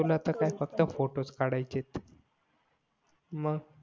तुला तर फक्त फोटोस काढायचे आहेत मग